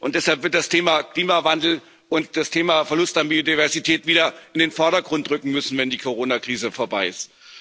Deshalb werden das Thema Klimawandel und das Thema Verlust an Biodiversität wieder in den Vordergrund rücken müssen, wenn die Corona Krise vorbei ist.